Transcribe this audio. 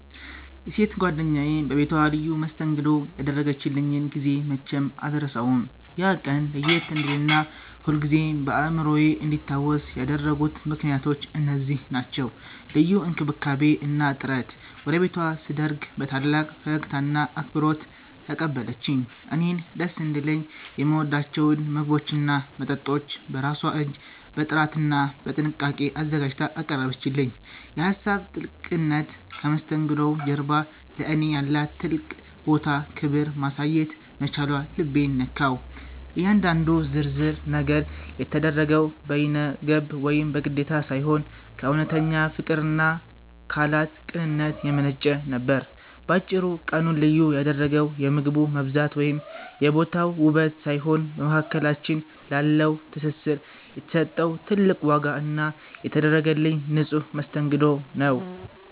የሴት ጓደኛዬ በቤቷ ልዩ መስተንግዶ ያደረገችልኝን ጊዜ መቼም አልረሳውም። ያ ቀን ለየት እንዲልና ሁልጊዜም በአእምሮዬ እንዲታወስ ያደረጉት ምክንያቶች እነዚህ ናቸው፦ ልዩ እንክብካቤ እና ጥረት፦ ወደ ቤቷ ስደርግ በታላቅ ፈገግታና አክብሮት ተቀበለችኝ። እኔን ደስ እንዲለኝ የምወዳቸውን ምግቦችና መጠጦች በራሷ እጅ በጥራትና በጥንቃቄ አዘጋጅታ አቀረበችልኝ። የሀሳብ ጥልቅነት፦ ከመስተንግዶው ጀርባ ለእኔ ያላትን ትልቅ ቦታና ክብር ማሳየት መቻሏ ልቤን ነካው። እያንዳንዱ ዝርዝር ነገር የተደረገው በይነገብ ወይም በግዴታ ሳይሆን፣ ከእውነተኛ ፍቅርና ካላት ቅንነት የመነጨ ነበር። ባጭሩ፤ ቀኑን ልዩ ያደረገው የምግቡ መብዛት ወይም የቦታው ውበት ሳይሆን፣ በመካከላችን ላለው ትስስር የተሰጠው ትልቅ ዋጋ እና የተደረገልኝ ንጹሕ መስተንግዶ ነው።